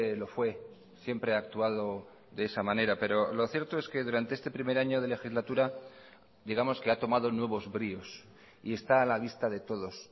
lo fue siempre ha actuado de esa manera pero lo cierto es que durante este primer año de legislatura digamos que ha tomado nuevos bríos y está a la vista de todos